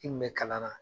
I kun bɛ kalan na